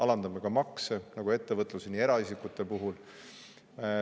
Alandame ka makse, nii ettevõtluses kui ka eraisikutel.